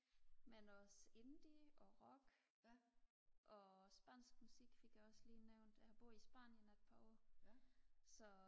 men også indie og rock og spansk musik fik jeg også lige nævnt jeg har boet i spanien et par år så